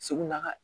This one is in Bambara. Segu na